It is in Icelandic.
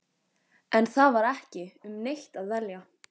En það var ekki um neitt að velja.